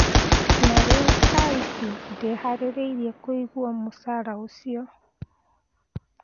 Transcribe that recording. Na rĩu thaici ndeharĩirie kũigua mũcara ũcio.